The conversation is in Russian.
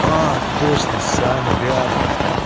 а точно саня рядом